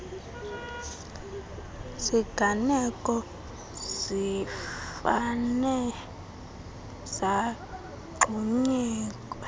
ziganeko zifane zagxunyekwa